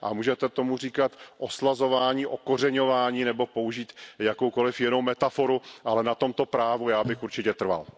Můžete tomu říkat oslazování, kořenění nebo použít jakoukoli jinou metaforu, ale na tomto právu já bych určitě trval.